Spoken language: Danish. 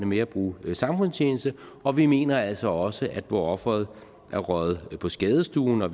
med at bruge samfundstjeneste og vi mener altså også at hvor offeret er røget på skadestuen hvor